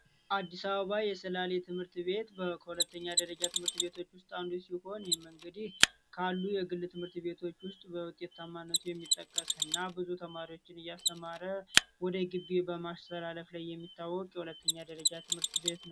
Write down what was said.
አዲስ አበባ የሰላሌ ትምህርት ቤት የሁለተኛ ደረጃ ትምህርት ቤት ውስጥ አንዱ ሲሆን ይህም እንግዲህ ካሉ የግል ትምህርት ቤቶች ውስጥ በውጤታማነቱ የሚጠቀስ ሲሆን ተማሪዎችን እያስተማረ ወደ ቀጣይ በማስተላለፍ የሚታወቅ ሁለተኛ ደረጃ ትምህርት ቤት ነው።